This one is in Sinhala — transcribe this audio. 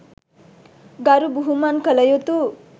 ගරු බුහුමන් කළ යුතු